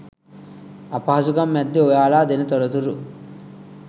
අපහසුකම් මෑද්දෙ ඔයාල දෙන තොරතුරු